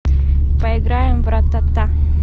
поиграем в ратата